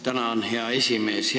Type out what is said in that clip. Tänan, hea esimees!